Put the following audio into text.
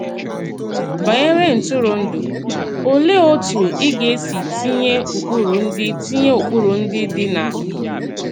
Banyere ntụrụndụ, olèe òtù ị gā-esi tinye ụkpụrụ ndị tinye ụkpụrụ ndị dị na…